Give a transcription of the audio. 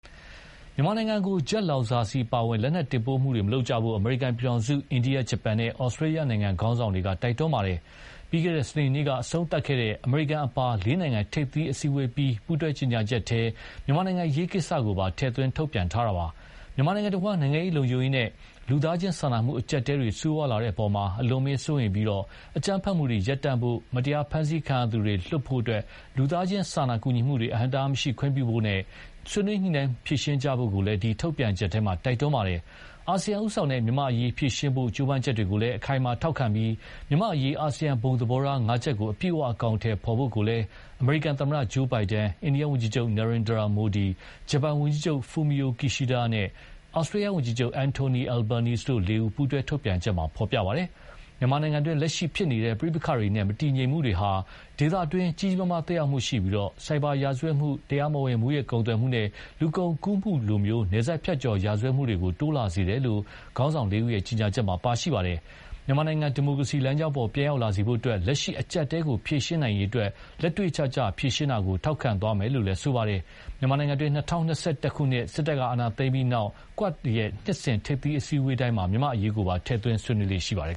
မြန်မာနိုင်ငံကို ဂျက်လောင်စာဆီအပါအဝင် လက်နက်တင်ပို့မှုတွေမလုပ်ကြဖို့ အမေရိကန်ပြည်ထောင်စု၊ အိန္ဒိယ၊ ဂျပန်နဲ့ ဩစတြေးလျနိုင်ငံ ခေါင်းဆောင်တွေက တိုက်တွန်းခဲ့ပါတယ်။ ပြီးခဲ့တဲ့ စနေနေ့က အဆုံးသတ်ခဲ့တဲ့ အမေရိကန်အပါလေးနိုင်ငံ ထိပ်သီးအစည်းအဝေးအပြီး ပူးတွဲကြေညာချက်ထဲ မြန်မာ့အရေးကိစ္စကိုပါ ထည့်သွင်းထုတ်ပြန်ထားတာပါ။ မြန်မာနိုင်ငံတဝန်း နိုင်ငံရေး၊ လုံခြုံရေးနဲ့ လူသားချင်းစာနာမှုအကျပ်အတည်းတွေ ဆိုးဝါးလာတဲ့အပေါ် အလွန်အမင်းစိုးရိမ်ပြီး အကြမ်းဖက်မှုတွေရပ်တန့်ဖို့၊ မတရားဖမ်းဆီးခံရသူတွေ လွှတ်ပေးဖို့၊ လူသားချင်းစာနာကူညီမှုတွေအဟန့်အတားမရှိခွင့်ပြုဖို့နဲ့ ဆွေးနွေးညှိနှိုင်းဖြေရှင်းကြဖို့ကိုလည်း ဒီ ထုတ်ပြန်ချက်ထဲ တိုက်တွန်းပါတယ်။ အာဆီယံဦးဆောင်တဲ့ မြန်မာ့အရေးဖြေရှင်းဖို့ ကြိုးပမ်းချက်တွေကို အခိုင်အမာထောက်ခံပြီး မြန်မာ့အရေး အာဆီယံဘုံသဘောထားငါးချက်ကို အပြည့်အဝအကောင်အထည်ဖော်ဖို့ကိုလည်း အမေရိကန်သမ္မတ Joe Biden ၊ အိန္ဒိယဝန်ကြီးချုပ် Narendra Modi ၊ ဂျပန်ဝန်ကြီးချုပ် Kishida Fumio နဲ့ ဩစတြေးလျှ ဝန်ကြီးချုပ် Anthony Albanese တို့လေးဦး ပူးတွဲထုတ်ပြန်ချက်မှာ ဖော်ပြပါတယ်။ မြန်မာနိုင်ငံတွင်း လက်ရှိဖြစ်နေတဲ့ပဋိပက္ခတွေနဲ့ မတည်ငြိမ်မှုတွေဟာ ဒေသတွေကို ကြီးကြီးမားမားသက်ရောက်မှုရှိပြီးဆိုက်ဘာရာဇတ်မှု၊ တရားမဝင်မူးယစ်ကုန်သွယ်မှုနဲ့ လူကုန်ကူးမှုလို နယ်စပ်ဖြတ်ကျော်ရာဇဝတ်မှုတွေ တိုးလာစေတယ်လို့လည်း ခေါင်းဆောင်လေးဦးရဲ့ ကြေညာချက်မှာ ပါရှိပါတယ်။ မြန်မာနိုင်ငံ ဒီမိုကရေစီလမ်းကြောင်းပေါ် ပြန်ရောက်လာစေဖို့အတွက် လက်ရှိအကျပ်အတည်းကို ဖြေရှင်းနိုင်ရေးအတွက် လက်တွေ့ကျကျ ဖြေရှင်းတာကို ထောက်ခံသွားမယ်လို့လည်း ဆိုပါတယ်။ မြန်မာနိုင်ငံတွင်း ၂၀၂၁ ခုနှစ် စစ်တပ်က အာဏာသိမ်းပြီးနောက် QUAD နှစ်စဉ်ထိပ်သီးအစည်းအဝေးတိုင်းမှာ မြန်မာ့အရေးကိုပါ ထည့်သွင်းဆွေးနွေးလေ့ရှိပါတယ်